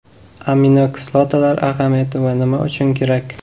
Aminokislotalar ahamiyati va nima uchun kerak?.